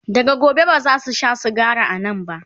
daga gobe bazasu Sha sigari a Nan ba